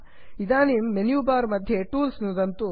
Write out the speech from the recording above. इदानीं menu bar मध्ये tools नुदन्तु